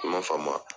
I man faamu